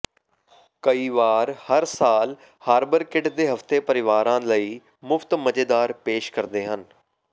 ਕਈ ਵਾਰ ਹਰ ਸਾਲ ਹਾਰਬਰਕਿਡ ਦੇ ਹਫਤੇ ਪਰਿਵਾਰਾਂ ਲਈ ਮੁਫਤ ਮਜ਼ੇਦਾਰ ਪੇਸ਼ ਕਰਦੇ ਹਨ